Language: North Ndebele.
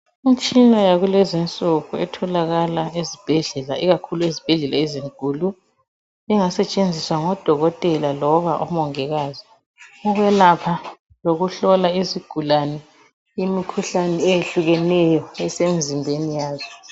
Imtshina yakulezinsuku etholakala ezibhedlela ikakhulu ezibhedlela ezinkulu engasetshenziswa ngodokotela loba omongikazi ukwelapha lokuhlola izigulane imikhuhlane eyehlukeneyo esemzimbeni yazi.